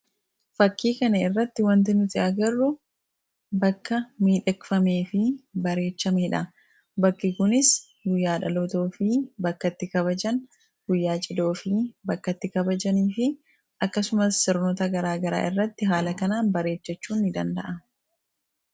fakkii kana irratti wanti nuti agarru bakka miidhegfamee fi bareechamedha bakki kunis guyyaa dhalotoo fi bakkatti kabajan guyyaa cidhoo fi bakkatti kabajanii fi akkasumas sirnota garaagaraa irratti haala kanaa bareechachuu ni danda'a.